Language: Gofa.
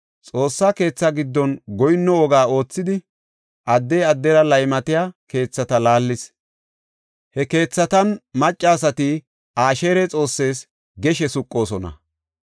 Xoossa keetha giddon goyinno woga oothidi, addey addera laymatiya keethata laallis; he keethatan maccasati Asheera xoossees geshe suqoosona.